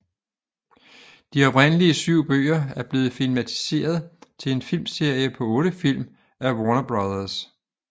De oprindelige syv bøger er blevet filmatiseret til en filmserie på otte film af Warner Bros